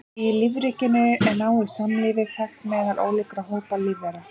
Í lífríkinu er náið samlífi þekkt meðal ólíkra hópa lífvera.